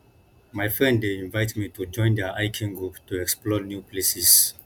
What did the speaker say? my friend dey invite me to join their hiking group to explore new places